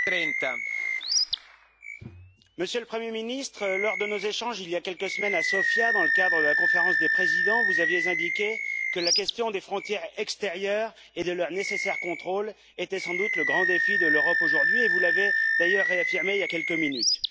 Monsieur le Président, Monsieur le Premier Ministre, lors de nos échanges, il y a quelques semaines à Sofia, dans le cadre de la Conférence des Présidents, vous avez indiqué que la question des frontières extérieures et de leur nécessaire contrôle était sans doute grand défi pour l'Europe aujourd'hui, et vous l'avez d'ailleurs réaffirmé il y a quelques minutes.